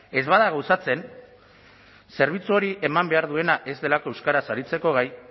ez bada gauzatzen zerbitzu hori eman behar duena ez delako euskaraz aritzeko gai